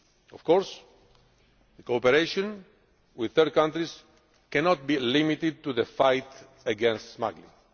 Of course, the cooperation with third countries cannot be limited to the fight against smuggling.